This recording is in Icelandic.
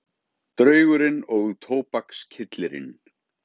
Draugurinn og tóbakskyllirinn